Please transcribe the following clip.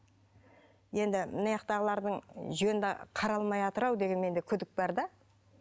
енді жөнді қаралмайатырау деген менде бір күдік бар да